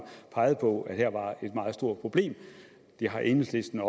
peget på at her var et meget stort problem det har enhedslisten